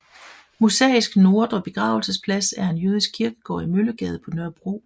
Mosaisk Nordre Begravelsesplads er en jødisk kirkegård i Møllegade på Nørrebro